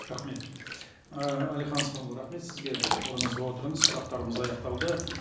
рахмет әлихан асханұлы рахмет сізге орныңызға отырыңыз сұрақтарымыз аяқталды